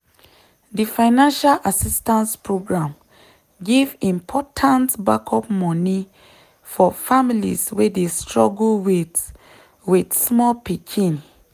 di financial assistance program give important backup money for families wey dey struggle with with small pikin.